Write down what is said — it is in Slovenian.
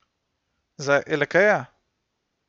Za Elekeja?